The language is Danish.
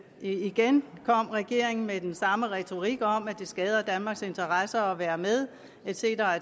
igen kom regeringen med den samme retorik om at det skader danmarks interesser ikke at være med et cetera